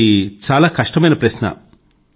ఇది చాలా కష్టమైన ప్రశ్న